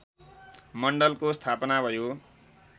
मण्डलको स्थापना भयो